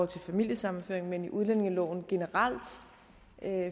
til familiesammenføring men i udlændingeloven generelt